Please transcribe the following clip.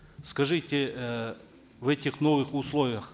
скажите э в этих новых условиях